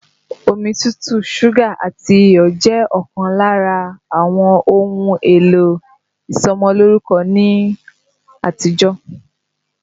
Omi tútù, súgà àti iyọ̀ jẹ́ ọ̀kan lára àwọn ohun èlò ìsọmọlórúkọ ní àtijọ́